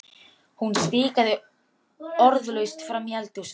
Hún stikaði orðalaust fram í eldhús.